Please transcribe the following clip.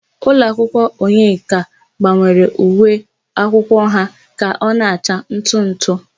Ụlọakwụkwọ Onyeka gbanwere uwe akwụkwọ ha ka ọ na-acha ntụ ntụ.